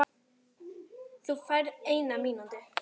Þú færð eina mínútu.